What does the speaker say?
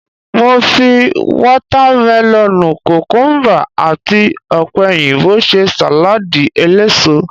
Mo fi watamelonu, kukumuba, àti opeyinbo ṣe saladi eléso.